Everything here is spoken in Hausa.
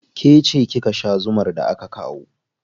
Ke ce kika sha zumar da aka kawo.